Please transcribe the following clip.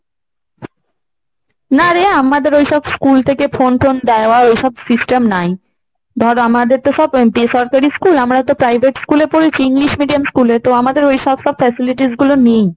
না রে আমাদের ওইসব school থেকে phone টোন দেওয়া ঐসব system নাই। ধর আমাদের তো সব বেসরকারি school, আমরা তো private school এ পড়েছি। english medium school এ। তো আমাদের এইসব সব facilities গুলো নেই।